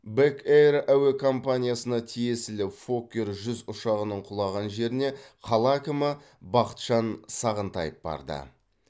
бэк эйр әуе компаниясына тиесілі фоккер жүз ұшағының құлаған жеріне қала әкімі бақытжан сағынтаев барды